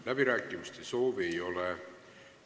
Läbirääkimiste soovi ei ole.